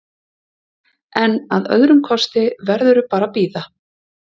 En að öðrum kosti verðurðu bara að bíða?